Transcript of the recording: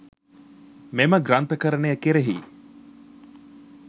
මෙම ග්‍රන්ථකරණය කෙරෙහි